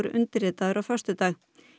undirritaður á föstudag